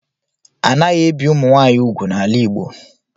Anaghị ebi Ụmụnwaanyị ugwu n'ala Igbo